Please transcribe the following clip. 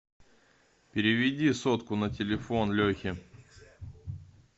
переведи сотку на телефон лехе